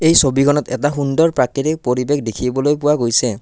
এই ছবিখনত এটা সুন্দৰ প্ৰাকৃতিক পৰিৱেশ দেখিবলৈ পোৱা গৈছে।